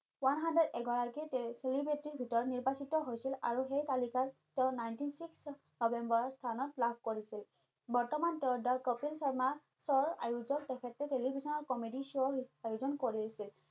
এগৰাকী celebrity ৰ ভিতৰত নিৰ্বাচিত হৈছিল আৰু সেই তালিকাত তেওঁ ninety six নম্বৰত লাভ কৰিছিল বৰ্তমান তেওঁ দা কপিল শৰ্মা শ্ব আয়োজক তেখেতে television ত comedy show আয়োজন কৰিছে।